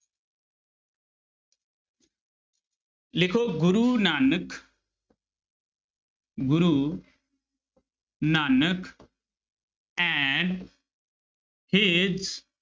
ਲਿਖੋ Guru Nanak Guru Nanak and his